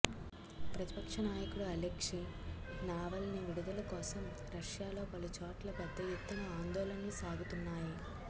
ప్రతిపక్షనాయకుడు Alexei Navalny విడుదల కోసం రష్యాలో పలు చోట్ల పెద్ద ఎత్తున ఆందోళనలు సాగుతున్నాయి